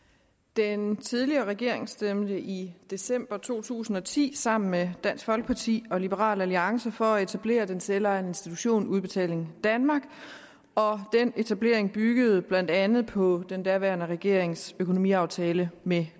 den tidligere regering stemte i december to tusind og ti sammen med dansk folkeparti og liberal alliance for at etablere den selvejende institution udbetaling danmark og den etablering byggede blandt andet på den daværende regerings økonomiaftale med